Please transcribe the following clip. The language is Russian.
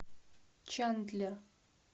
чандлер